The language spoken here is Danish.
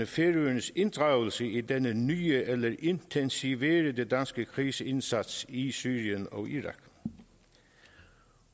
færøernes inddragelse i denne nye eller intensiverede danske krigsindsats i syrien og irak